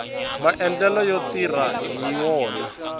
maendlelo yo tirha hi wona